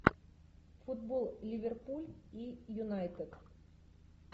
футбол ливерпуль и юнайтед